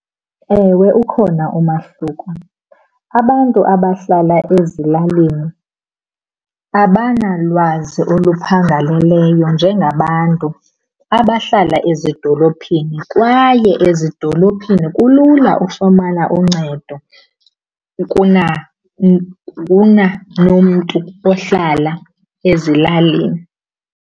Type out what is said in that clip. Ewe, ukhona umahluko. Abantu abahlala ezilalini abanalwazi oluphangaleleyo njengabantu abahlala ezidolophini kwaye ezidolophini kulula ufumana uncedo kuna nomntu ohlala ezilalini.